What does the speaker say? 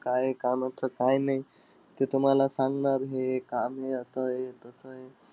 काय कामाचं काय नाई, ते तुम्हाला सांगणार, हे काम आहे असंय-तसंय.